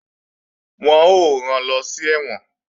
Wọ́n ó rán lọ sí ẹ̀wọ̀n